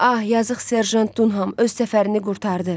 Ah, yazıq serjant Dunham öz səfərini qurtardı.